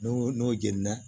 N'o n'o jeni na